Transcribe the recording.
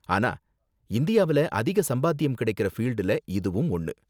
ஆனா இந்தியாவுல அதிக சம்பாத்தியம் கிடைக்குற ஃபீல்டுல இதுவும் ஒண்ணு.